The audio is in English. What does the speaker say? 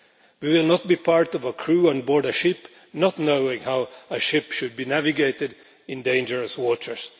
We will not be part of a crew on board a ship that does not know how a ship should be navigated in dangerous waters.